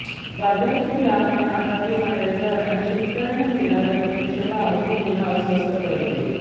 बाजारातील ग्राहकांना आकारले जाणारे दर आणि शेतकऱ्यांना मिळणारा प्रत्यक्ष भाव ही तुलना अस्वस्थ करते